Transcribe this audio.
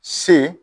Se